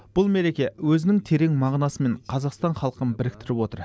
бұл мереке өзінің терең мағынасымен қазақстан халқын біріктіріп отыр